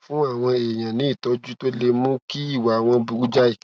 fún àwọn èèyàn ní ìtójú tó lè mú kí ìwà wọn burú jáì